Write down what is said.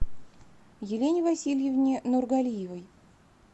елене васильевне нургалиевой